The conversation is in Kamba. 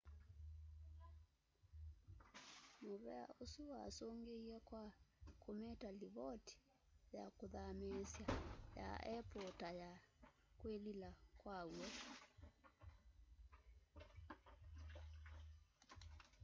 muvea usu wasungiie kwa kumita livoti ya kuthamiisya ya apple ta ya kwilila kwaw'o